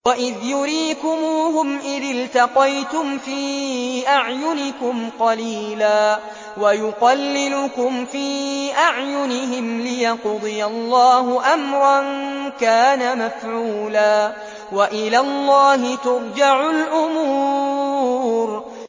وَإِذْ يُرِيكُمُوهُمْ إِذِ الْتَقَيْتُمْ فِي أَعْيُنِكُمْ قَلِيلًا وَيُقَلِّلُكُمْ فِي أَعْيُنِهِمْ لِيَقْضِيَ اللَّهُ أَمْرًا كَانَ مَفْعُولًا ۗ وَإِلَى اللَّهِ تُرْجَعُ الْأُمُورُ